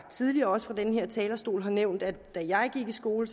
tidligere fra den her talerstol nævnt at da jeg gik i skole